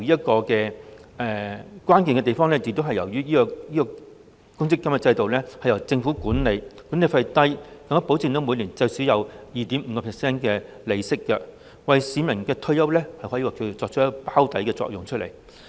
當中關鍵在於公積金制度由政府管理，管理費低，更保證每年最少有 2.5% 利息，可以說是為市民的退休保障作出"包底"的作用。